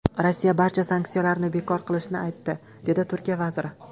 Rossiya barcha sanksiyalarni bekor qilishini aytdi”, dedi Turkiya vaziri.